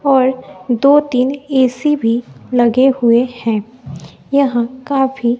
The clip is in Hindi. और दो तीन ए_सी भी लगे हुए हैं यहां काफी--